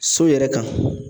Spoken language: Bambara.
So yɛrɛ kan